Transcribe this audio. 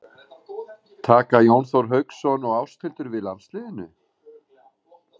Taka Jón Þór Hauksson og Ásthildur við landsliðinu?